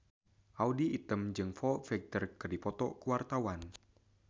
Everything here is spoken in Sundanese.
Audy Item jeung Foo Fighter keur dipoto ku wartawan